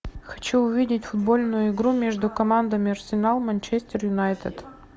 хочу увидеть футбольную игру между командами арсенал манчестер юнайтед